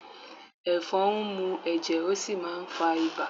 Ẹ̀fọn ń mú ẹ̀jẹ̀, ó sì máà ń fá ibà